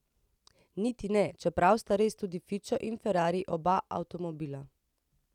Niti ne, čeprav sta res tudi fičo in ferrari oba avtomobila.